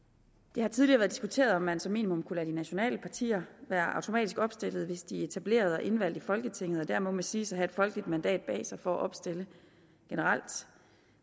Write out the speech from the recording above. det har tidligere været diskuteret om man som minimum kunne lade de nationale partier være automatisk opstillet hvis de er etableret og indvalgt i folketinget og dermed må siges at have et folkeligt mandat bag sig for at opstille generelt